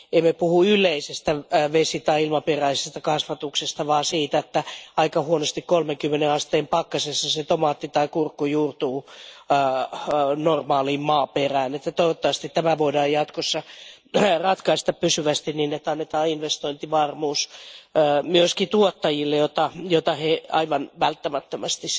Emme puhu yleisestä vesi tai ilmaperäisestä kasvatuksesta vaan siitä, että aika huonosti 30 asteen pakkasessa tomaatti tai kurkku juurtuu normaaliin maaperään. Toivottavasti tämä voidaan jatkossa ratkaista pysyvästi niin, että annetaan investointivarmuus myöskin tuottajille, jota he aivan välttämättömästi